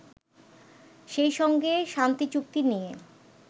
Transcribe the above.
সেইসঙ্গে শান্তিচুক্তি নিয়ে